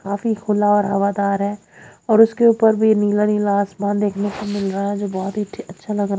काफी खुला और हवादार है और उसके ऊपर भी नीला नीला आसमान देखने को मिल रहा है जो बहुत ही अच्छा लगा रहा--